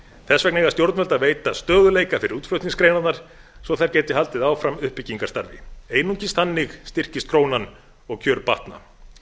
vegna eiga stjórnvöld að veita stöðugleika fyrir útflutningsgreinarnar svo að þær geti haldið áfram uppbyggingarstarfi einungis þannig styrkist krónan og kjör batna